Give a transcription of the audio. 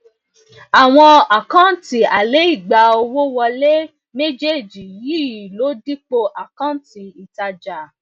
àwọn àkántì alaigba owó wọle um méjèèjì yii ló dipo àkántì ìtajà